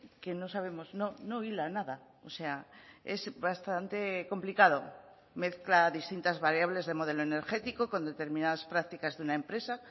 que no sabemos no hila nada o sea es bastante complicado mezcla distintas variables de modelo energético con determinadas prácticas de una empresa